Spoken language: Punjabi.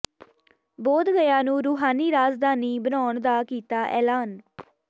ਬੋਧ ਗਯਾ ਨੂੰ ਰੂਹਾਨੀ ਰਾਜਧਾਨੀ ਬਣਾਉਣ ਦਾ ਕੀਤਾ ਐਲਾਨ